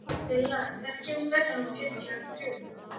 Villa, hvenær kemur strætó númer fjörutíu og þrjú?